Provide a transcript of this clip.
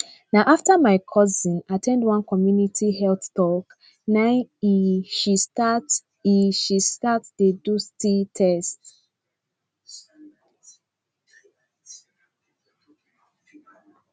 na after my cousin at ten d one community health talk na e she start e she start dey do sti test